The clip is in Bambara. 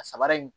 A sabara in